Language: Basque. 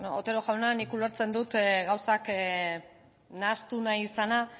bueno otero jauna nik ulertzen dut gauzak nahastu nahi izana